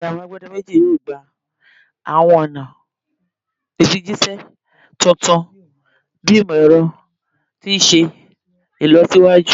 Awọn iyawo agbedemeji yoo gba awọn ọna ifijiṣẹ tuntun bi imọ-ẹrọ ti n ṣe ilọsiwaju